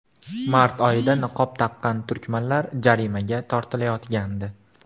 Mart oyida niqob taqqan turkmanlar jarimaga tortilayotgandi.